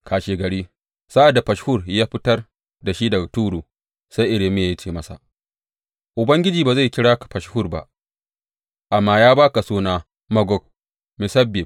Kashegari, sa’ad da Fashhur ya fitar da shi daga turu, sai Irmiya ya ce masa, Ubangiji ba zai kira ka Fashhur ba, amma ya ba ka suna Magor Missabib.